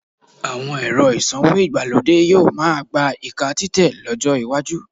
Àwọn ẹ̀rọ ìsanwó ìgbàlódé yóò máá gba ìka títẹ̀ lọ́jọ́ iwájú